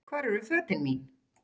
Hvar eru fötin mín?